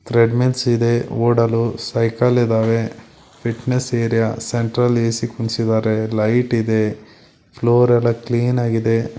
Treadmills ಇದೆ ಓಡಲು cycle ಇದಾವೆ ಫಿಟ್ನೆಸ್ ಏರಿಯಾ ಸೆಂಟ್ರಲ್ ಎ_ಸಿ ಕೂರಿಸಿದ್ದಾರೆ ಲೈಟ್ ಇದೆ ಫ್ಲೋರೆಲ್ಲಾ ಕ್ಲೀನಾಗಿದೆ .